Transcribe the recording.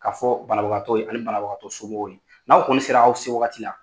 Ka fɔ banabagatɔw ye ani banabagatɔ somɔgɔw ye n'aw kɔni sera aw se wagati la